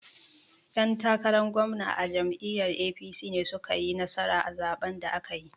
'Yan takaran gwamna a jam'iyyar APC ne su ka yi nasara a zaɓen da aka yi.